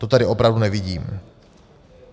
To tady opravdu nevidím.